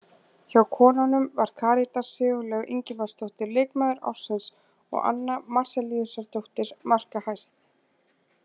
Hjá konunum var Karítas Sigurlaug Ingimarsdóttir leikmaður ársins og Anna Marzellíusardóttir markahæst.